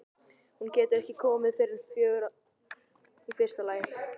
Hún getur ekki komið fyrr en fjögur í fyrsta lagi.